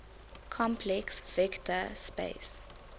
complex vector space